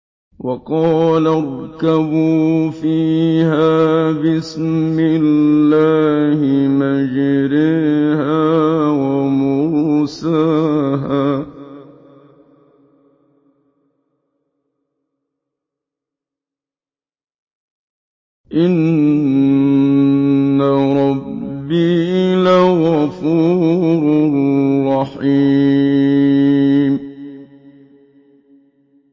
۞ وَقَالَ ارْكَبُوا فِيهَا بِسْمِ اللَّهِ مَجْرَاهَا وَمُرْسَاهَا ۚ إِنَّ رَبِّي لَغَفُورٌ رَّحِيمٌ